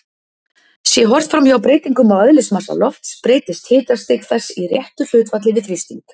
Sé horft framhjá breytingum á eðlismassa lofts breytist hitastig þess í réttu hlutfalli við þrýsting.